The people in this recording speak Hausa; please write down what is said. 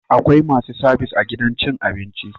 Akwai masu sabis a gidan cin abinci